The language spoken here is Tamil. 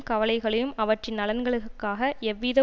கவலைகளையும் அவற்றின் நலன்களுக்காக எவ்வித